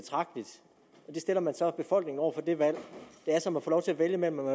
stiller man så befolkningen over for det valg det er som at få lov til at vælge mellem om